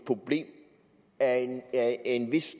problem af en vis